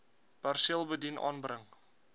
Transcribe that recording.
perseel bedien aanbring